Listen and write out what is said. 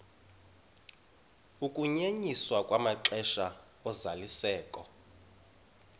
ukunyenyiswa kwamaxesha ozalisekiso